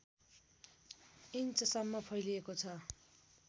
इन्चसम्म फैलिएको छ